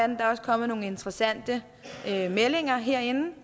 der er også kommet nogle interessante meldinger herinde og